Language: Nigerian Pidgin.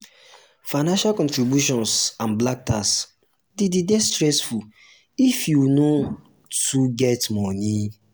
financial contributions and 'black tax" de dey stessfull if um you no too um get money